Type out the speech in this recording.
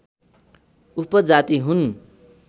उपजाति हुन्